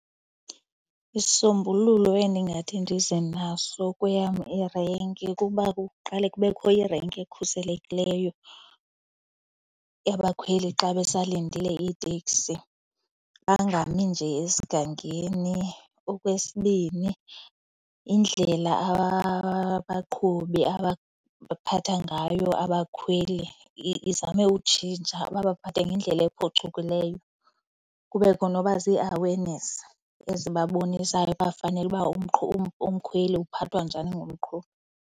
Isisombululo endingathi ndize naso kweyam irenki kuba kuqale kubekho irenki ekhuselekileyo yabakhweli xa besalindile iitekisi, bangami nje esigangeni. Okwesibini, indlela abaqhubi abaphatha ngayo abakhweli izame utshintsha, babaphathe ngendlela ephucukileyo, kubekho noba zii-awareness ezibabonisayo uba fanele uba umkhweli uphathwa njani ngumqhubi.